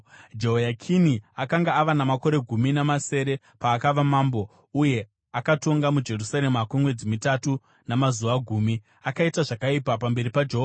Jehoyakini akanga ava namakore gumi namasere paakava mambo, uye akatonga muJerusarema kwemwedzi mitatu namazuva gumi. Akaita zvakaipa pamberi paJehovha.